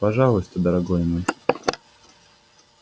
пожалуйста дорогой мой